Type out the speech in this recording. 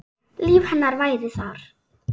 Líf hennar væri þar.